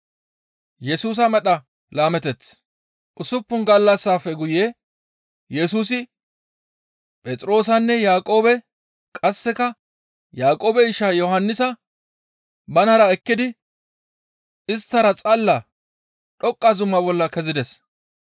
Usuppun gallassafe guye Yesusi Phexroosanne Yaaqoobe qasseka Yaaqoobe isha Yohannisa banara ekkidi isttara xalla dhoqqa zuma bolla kezides.